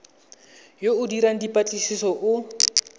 yo o dirang dipatlisiso o